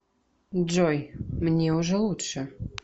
джой мне уже лучше